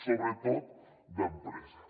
sobretot d’empreses